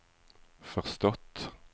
förstått